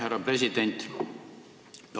Härra president!